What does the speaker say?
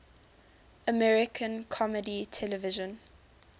american comedy television